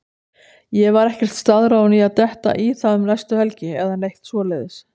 Ég var ekkert staðráðinn í að detta í það um næstu helgi eða neitt svoleiðis.